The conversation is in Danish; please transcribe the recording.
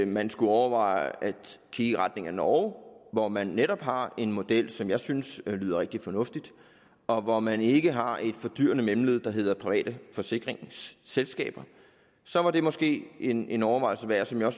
man skulle overveje at kigge i retning af norge hvor man netop har en model som jeg synes lyder rigtig fornuftig og hvor man ikke har et fordyrende mellemled der hedder private forsikringsselskaber så var det måske en en overvejelse værd som jeg